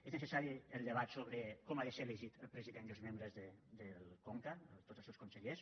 és necessari el debat sobre com ha de ser elegit el president i els membres del conca tots els seus consellers